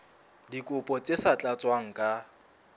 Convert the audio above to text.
dikopo tse sa tlatswang ka